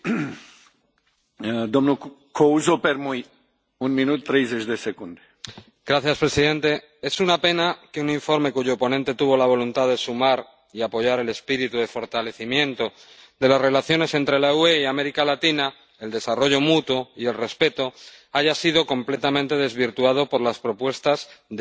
Señor presidente, es una pena que un informe cuyo ponente tuvo la voluntad de sumar y apoyar el espíritu de fortalecimiento de las relaciones entre la UE y América Latina, el desarrollo mutuo y el respeto, haya sido completamente desvirtuado por las propuestas de ALDE, PPE y ECR, que lo han convertido en un informe prepotente